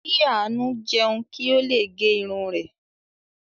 Kí Àánú jẹun kí ó le gẹ irun rẹ̀.